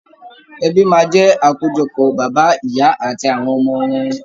Ẹbí máa jẹ akojọpọ bàbá, ìyà àti àwọn ọmọ wọn.